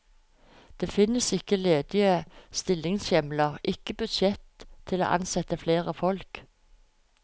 Det finnes ikke ledige stillingshjemler, ikke budsjett til å ansette flere folk.